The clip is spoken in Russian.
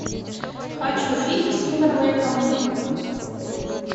хочу фильм с тимберлейком